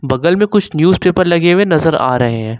बगल में कुछ न्यूज़ पेपर लगे हुए नजर आ रहे हैं।